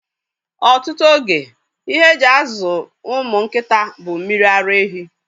Ọtụtụ oge, ihe e ji azụ ụmụ nkịta bụ mmiri ara ehi.